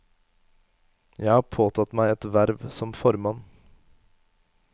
Jeg har påtatt meg et verv som formann.